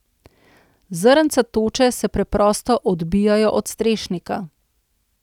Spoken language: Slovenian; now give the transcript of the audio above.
Zrnca toče se preprosto odbijajo od strešnika.